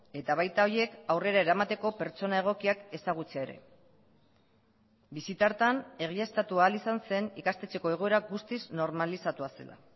eta baita horiek aurrera eramateko pertsona egokiak ezagutzea ere bisita hartan egiaztatu ahal izan zen ikastetxeko egoera guztiz normalizatua zela